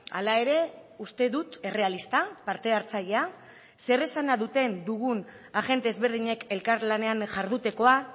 hala ere uste dut errealista parte hartzailea zer esana duten dugun agente ezberdinek elkarlanean jardutekoa